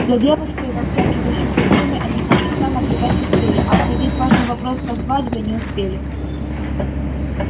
за девушкой в обтягивающем костюме они полчаса наблюдать успели а обсудить важный вопрос со свадьбой не успели